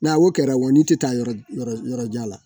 N'a'o kɛra wo n'i tɛ taa yɔrɔ yɔrɔ jan la.